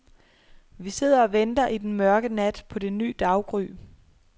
Vi sidder og venter i den mørke nat på det ny daggry.